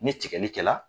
Ni tigɛli kɛla